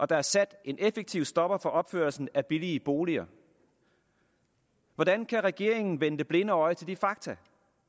der er sat en effektiv stopper for opførelsen af billige boliger hvordan kan regeringen vende det blinde øje til de fakta